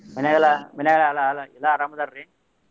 ಮನ್ಯಾಗ ಎಲ್ಲಾ ಮನ್ಯಾಗ ಎಲ್ಲಾ ಎಲ್ಲಾ ಅರಾಮ್ ಅದಾರಿ?